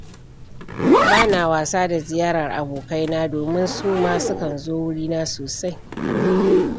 Ba na wasa da ziyarar abokaina, domin su ma sukan zo wurina sosai.